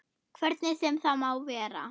Hvernig sem það má vera.